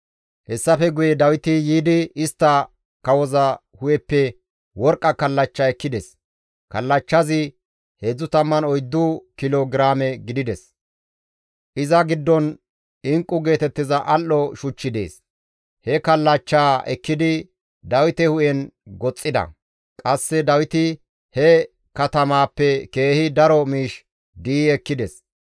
Hessafe guye Dawiti yiidi istta kawoza hu7eppe worqqa kallachcha ekkides; kallachchazi 34 kilo giraame gidides; iza giddon inqqu geetettiza al7o shuchchi dees; he kallachchaa ekkidi Dawite hu7en goxxida; qasse Dawiti he katamaappe keehi daro miish di7i ekkides.